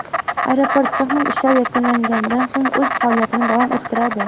Aeroport texnik ishlar yakunlanganidan so‘ng o‘z faoliyatini davom ettiradi.